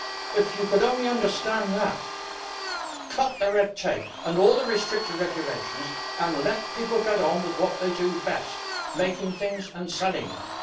If you could only understand that cut the red tape and all the restrictive regulations, and let people get on with what they do best making things and selling them.